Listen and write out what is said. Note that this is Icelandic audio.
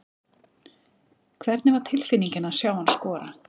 Hvernig var tilfinningin að sjá hann skora?